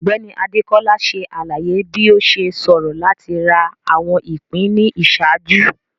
Ọgbẹni Adekola ṣe alaye bi o ṣe ṣoro lati ra awọn ipin ni iṣaaju.